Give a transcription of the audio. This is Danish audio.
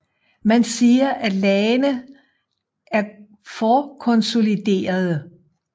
Man siger at lagene er forkonsoliderede